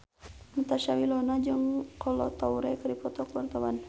Natasha Wilona jeung Kolo Taure keur dipoto ku wartawan